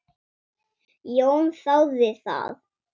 Jón þáði það.